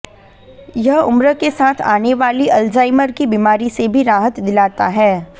यह उम्र के साथ आने वाली अल्जाइमर की बीमारी से भी राहत दिलाता है